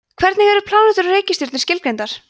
hvernig eru plánetur og reikistjörnur skilgreindar